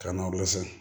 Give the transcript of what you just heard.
Ka na lɔsi